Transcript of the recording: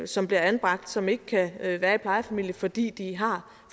som bliver anbragt som ikke kan være i plejefamilie fordi de har